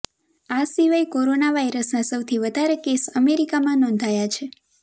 આ સિવાય કોરોના વાઈરસના સૌથી વધારે કેસ અમેરિકામાં નોંધાયા છે